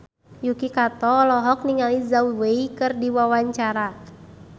Yuki Kato olohok ningali Zhao Wei keur diwawancara